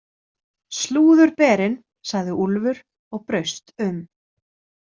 Slúðurberinn, sagði Úlfur og braust um.